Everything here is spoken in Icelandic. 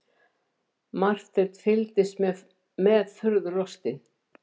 Marteinn fylgdist með furðu lostinn.